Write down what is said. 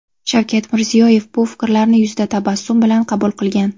Shavkat Mirziyoyev bu fikrlarni yuzda tabassum bilan qabul qilgan.